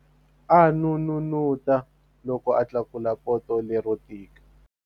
A n'unun'uta loko a tlakula poto lero tika.